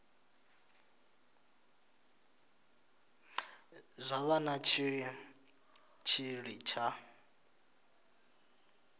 zwa vha na tshitshili tsha